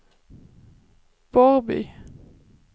Borrby